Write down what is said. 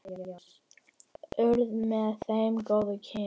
Urðu með þeim góð kynni.